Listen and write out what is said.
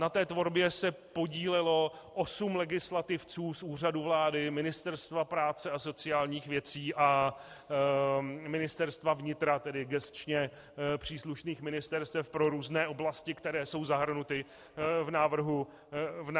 Na té tvorbě se podílelo osm legislativců z Úřadu vlády, Ministerstva práce a sociálních věcí a Ministerstva vnitra, tedy gesčně příslušných ministerstev pro různé oblasti, které jsou zahrnuty v návrhu zákona.